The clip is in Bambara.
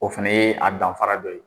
O fana ye an danfara dɔ ye.